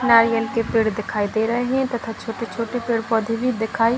नारियल के पेड़ दिखाई दे रहें हैं तथा छोटे-छोटे पेड़-पौधे भी दिखाई --